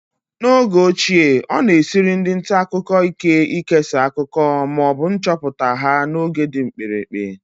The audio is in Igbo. N'oge ochie, ọ na-esiri ndị nta akụkọ ike ikesa akụkọ ma ọ bụ nchọpụta ha n'oge dị mkpirikpi